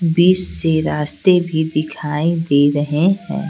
बीच से रास्ते भी दिखाई दे रहे हैं।